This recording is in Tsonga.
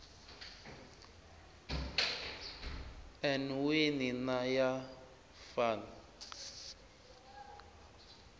n wini na ya van